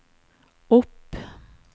opp